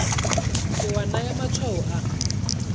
ke wa naya matshwao a